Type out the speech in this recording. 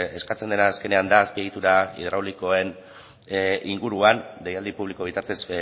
eskatzen dela azkenean da azpiegitura hidraulikoen inguruan deialdi publiko bitartez